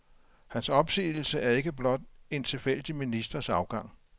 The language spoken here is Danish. Hans opsigelse er ikke blot en tilfældig ministers afgang.